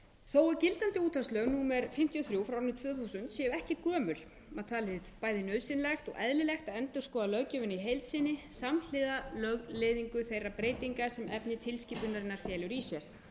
þó að gildandi útvarpslög númer fimmtíu og þrjú tvö þúsund séu ekki gömul var talið bæði nauðsynlegt og eðlilegt að endurskoða löggjöfina í heild sinni samhliða lögleiðingu þeirra breytinga sem efni tilskipunarinnar felur í sér